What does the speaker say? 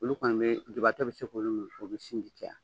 Olu kɔni bɛ jubatɔ bɛ se k'olu min o bɛ sinji caya.